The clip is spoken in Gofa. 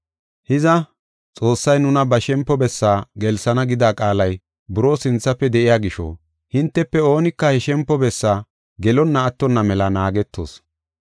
Hiza, Xoossay nuna ba shempo bessaa gelsana gida qaalay buroo sinthafe de7iya gisho, hintefe oonika he shempo bessaa gelonna attonna mela naagetoos.